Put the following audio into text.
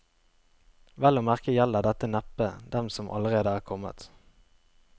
Vel å merke gjelder dette neppe dem som allerede er kommet.